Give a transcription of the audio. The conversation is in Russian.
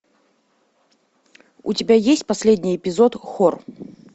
у тебя есть последний эпизод хор